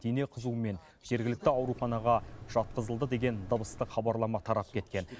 дене қызуымен жергілікті ауруханаға жатқызылды деген дыбыстық хабарлама тарап кеткен